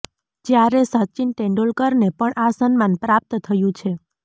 જ્યારે સચિન તેંડુલકરને પણ આ સન્માન પ્રાપ્ત થયું છે